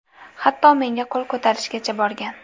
Hatto menga qo‘l ko‘tarishgacha borgan.